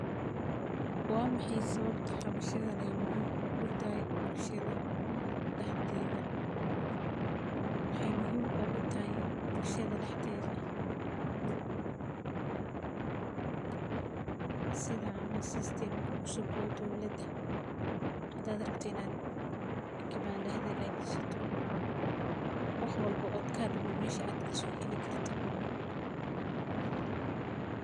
Waxaa maxay sawabta xamashadan ee muhiim ogu tahay bulshaada daxdeda, waxee muhiim ogu tahay bulshaada daxdedha sitha camal system ka cusub ee dowlaada hada rabtid in aa kibanda hagajisato wax walbo oo kadume mesha aya kaso heli karto waye.